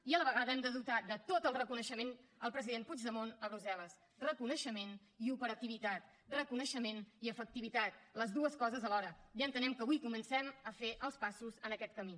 i a la vegada hem de dotar de tot el reconeixement al president puigdemont a brussel·les reconeixement i operativitat reconeixement i efectivitat les dues coses alhora i entenem que avui comencem a fer els passos en aquest camí